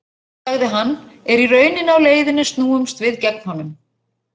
sagði hann, er í rauninni á leiðinni snúumst við gegn honum